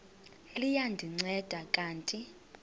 liya ndinceda kanti